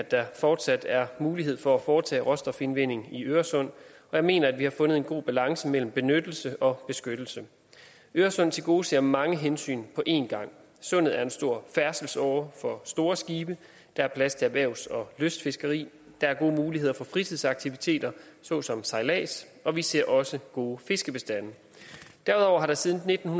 at der fortsat er mulighed for at foretage råstofindvinding i øresund og jeg mener at vi har fundet en god balance mellem benyttelse og beskyttelse øresund tilgodeser mange hensyn på én gang sundet er en stor færdselsåre for store skibe der er plads til erhvervs og lystfiskeri der er gode muligheder for fritidsaktiviteter såsom sejlads og vi ser også gode fiskebestande derudover har der siden nitten